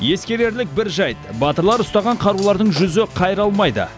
ескерерлік бір жайт батырлар ұстаған қарулардың жүзі қайралмайды